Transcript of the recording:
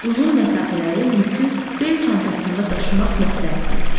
Uzun məsafələrə yükü bel çantasında daşımaq məsləhətlidir.